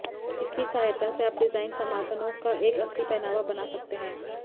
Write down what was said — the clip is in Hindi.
इसकी सहायता से आप डिज़ाइन समाधानों का एक असली पहनावा बना सकते हैं